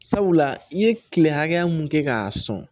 Sabula i ye kile hakɛ mun kɛ k'a sɔn